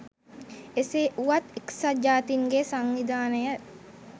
එසේ වුවත් එක්සත් ජාතීන්ගේ සංවිධානය